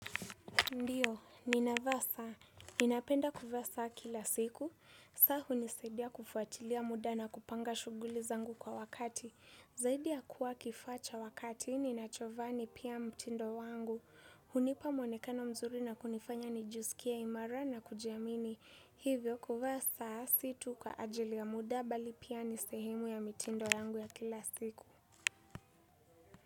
Ndio, ninavaa saa. Ninapenda kuvaa saa kila siku. Saa hunisaidia kufuatilia muda na kupanga shughuli zangu kwa wakati. Zaidi ya kuwa kifaa cha wakati, ninachovaa ni pia mtindo wangu. Hunipa mwonekano mzuri na kunifanya nijisikie imara na kujiamini. Hivyo kuvaa saa si tu kwa ajili ya muda bali pia ni sehemu ya mitindo yangu ya kila siku.